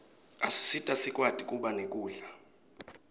asisita sikwati kuba nekudla